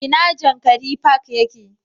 ina jankari park yake